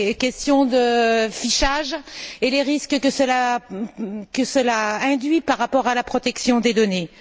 questions de fichage et les risques que cela comporte par rapport à la protection des données.